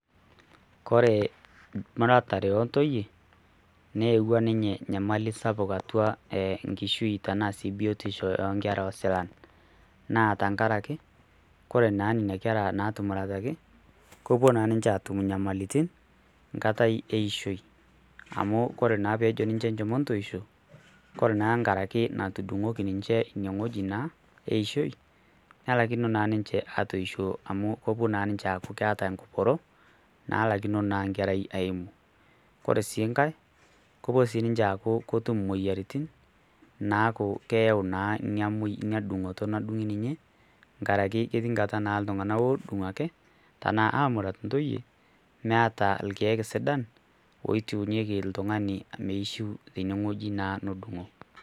koree emuratare oontoiye newua ninye nyamali sapuk nkishui ana biotisho oonkerra osilan naa tengaraki, ore naa nenia kerra naatumurataki kepo naa niche aatum inyamalitin nkata eishoi, amu kore naa peejo ninche enchom entoisho, kore naaa ngaraki natudung'oki ninche ineweji naa eishoi nelakino naa ninche aisho amuu kepo naa ninche aaku keata enkiporo naalakino naa inkerrai aimu, kore sii nkae kepo sii ninche aaku ketum imoyiarritin naaku keyau naa ina dung'oto nadung'i ninye ngaraki ketii nkata naa ltungana oodung' ake tenaa aamurat ntoiye emeeta irkiek sidan oitiunyeki ltungani meishu teneweji naa nedung'o.